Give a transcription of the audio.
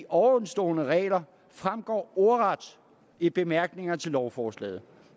ovenstående regler fremgår ordret i bemærkningerne til lovforslaget